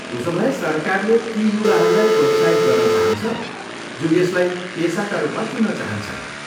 उसोभए सरकारले ती युवाहरूलाई प्रोत्साहित गर्न चाहन्छ जो यसलाई पेसाका रूपमा चुन्न चाहन्छन्।